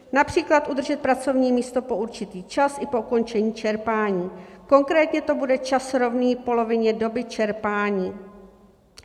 Například udržet pracovní místo po určitý čas i po ukončení čerpání, konkrétně to bude čas rovný polovině doby čerpání.